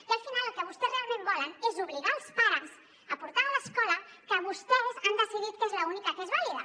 i al final el que vostès realment volen és obligar els pares a portar a l’escola que vostès han decidit que és l’única que és vàlida